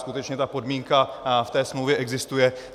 Skutečně ta podmínka v té smlouvě existuje.